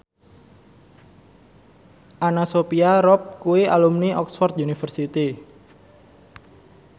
Anna Sophia Robb kuwi alumni Oxford university